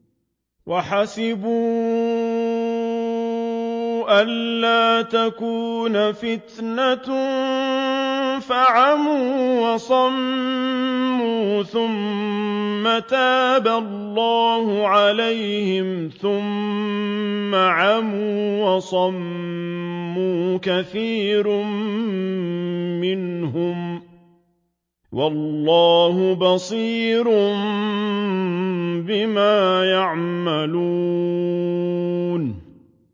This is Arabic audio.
وَحَسِبُوا أَلَّا تَكُونَ فِتْنَةٌ فَعَمُوا وَصَمُّوا ثُمَّ تَابَ اللَّهُ عَلَيْهِمْ ثُمَّ عَمُوا وَصَمُّوا كَثِيرٌ مِّنْهُمْ ۚ وَاللَّهُ بَصِيرٌ بِمَا يَعْمَلُونَ